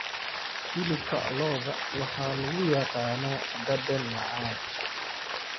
Hilibka lo'da waxaa lagu yaqaanaa dhadhan macaan.